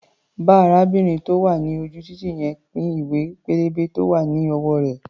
Bá arábìnrin tó wà ní ojú-títì yẹn pín ìwé-pélébé tó wá̀ ní ọwọ́ rẹ̀.